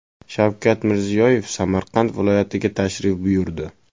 Shavkat Mirziyoyev Samarqand viloyatiga tashrif buyurdi.